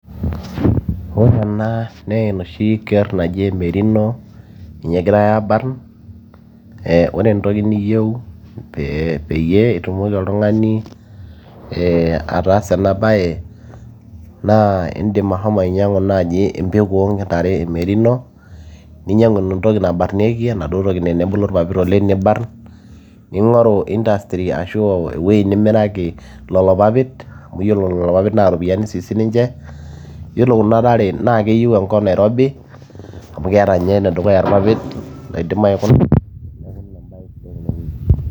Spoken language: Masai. ore ena naa enoshi kerr naji emerino ninye egiray abarrn ore entoki niyieu pee peyie itumoki oltung'ani ataasa ena baye naa indim ahomo ainyiang'u naaji empeku oontare e merino ninyiang'u entoki nabarrnieki enaduo toki naa enebulu irpapit oleng nibarrn, ning'oru industry ashu ewueji nimiraki lolo papit amu yiolo lolo papit naa iropiyiani sii siniche yiolo kuna tare naa keyieu enkop nairobi amu keeta ninye enedukuya irpapit loidim aikuna neeku ina embaye sidai tenewueji.